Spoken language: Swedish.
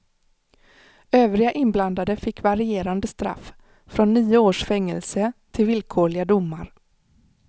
Övriga inblandade fick varierande straff, från nio års fängelse till villkorliga domar.